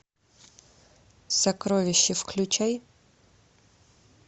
сокровище включай